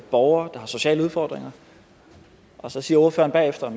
borgere der har sociale udfordringer og så siger ordføreren bagefter